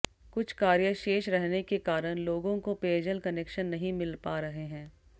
कुछ कार्य शेष रहने के कारण लोगों को पेयजल कनेक्शन नहीं मिल पा रहे हैं